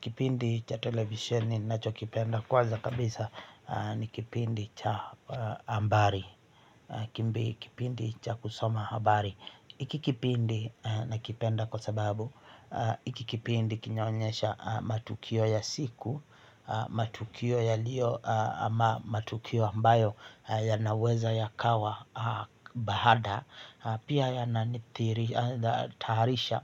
Kipindi cha televisisheni ninachokipenda kwanza kabisa ni kipindi cha ambari Kimbi kipindi cha kusoma habari hiki kipindi nakipenda kwa sababu hiki kipindi kinaonyesha matukio ya siku. Matukio yaliyo ama matukio ambayo yanaweza yakawa baada. Pia yananithiri, taharisha